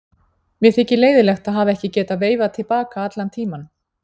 Mér þykir leiðinlegt að hafa ekki getað veifað til baka allan tímann.